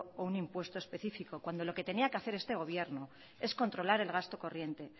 o un impuesto específico cuando lo que tenía que hacer este gobierno es controlar el gasto corriente